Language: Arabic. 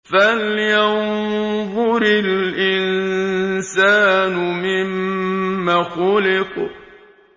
فَلْيَنظُرِ الْإِنسَانُ مِمَّ خُلِقَ